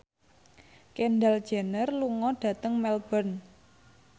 Kendall Jenner lunga dhateng Melbourne